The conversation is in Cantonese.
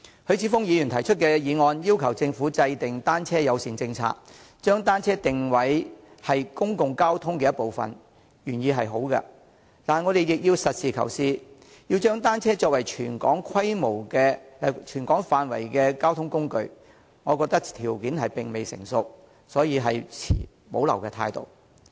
許智峯議員提出的議案要求政府制訂單車友善政策，將單車定位為公共交通的一部分，原意是好的，但我們亦要實事求是，若要將單車作為涵蓋全港範圍的交通工具，我覺得條件並未成熟，所以持保留態度。